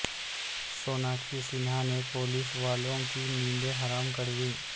سوناکشی سنہا نے پولیس والوں کی نیندیں حرام کر دیں